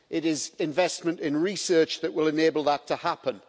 It is investment in research that will enable that to happen.